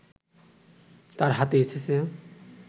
তাঁর হাতে এসেছে